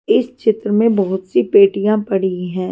इस चित्र में बहुत सी पेटियां पड़ी हैं।